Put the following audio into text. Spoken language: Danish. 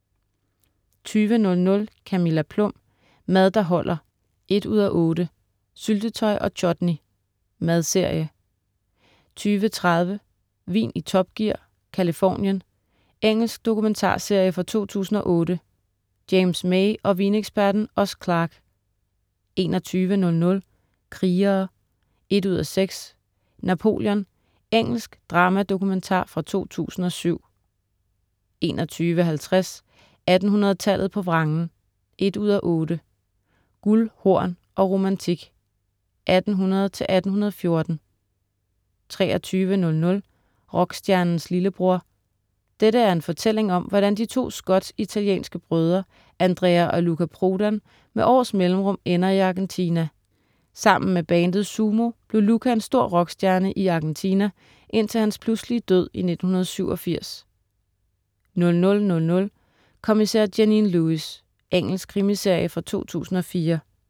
20.00 Camilla Plum. Mad der holder 1:8. Syltetøj og chutney. Madserie 20.30 Vin i Top Gear, Californien. Engelsk dokumentarserie fra 2008. James May og vineksperten Oz Clarke 21.00 Krigere 1:6. Napoleon. Engelsk dramadokumentar fra 2007 21.50 1800-tallet på vrangen 1:8. Guld, hor og romantik, 1800-1814 23.00 Rockstjernens lillebror. Dette er en fortælling om, hvordan to skotsk-italienske brødre, Andrea og Luca Prodan, med års mellemrum ender i Argentina. Sammen med bandet Sumo blev Luca en stor rockstjerne I Argentina, indtil hans pludselige død i 1987 00.00 Kommissær Janine Lewis. Engelsk krimiserie fra 2004